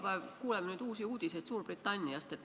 Me kuuleme nüüd iga päev uusi uudiseid Suurbritanniast.